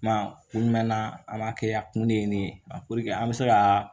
Kuma kun jumɛn na an b'a kɛ a kun de ye ne ye a an bɛ se ka